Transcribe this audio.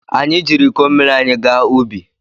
Anyị jiiri iko mmiri anyị gaa ubi.